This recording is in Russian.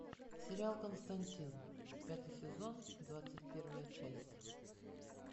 сериал константин пятый сезон двадцать первая часть